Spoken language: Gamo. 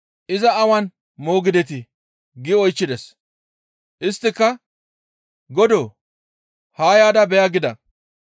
«Iza awan moogidetii?» gi oychchides; isttika, «Godoo! Haa yaada beya» gida.